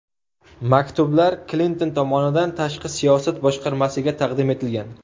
Maktublar Klinton tomonidan tashqi siyosat boshqarmasiga taqdim etilgan.